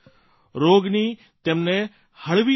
રોગની તેમને હળવી અસર છે